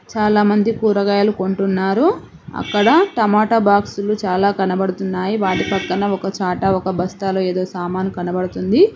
చాలామంది కూరగాయలు కొంటున్నారు అక్కడ టమాటా బాక్సులు చాలా కనబడుతున్నాయి వాటి పక్కన ఒక చాట ఒక బస్తాలు ఏదో సామాను కనపడుతుంది.